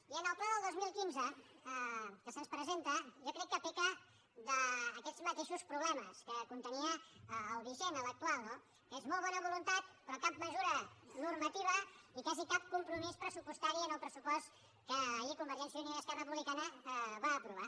i en el pla del dos mil quinze que se’ns presenta jo crec que peca d’aquests mateixos problemes que contenia el vigent l’actual no que és molt bona voluntat però cap mesura normativa i quasi cap compromís pressupostari en el pressupost que ahir convergència i unió i esquerra republicana van aprovar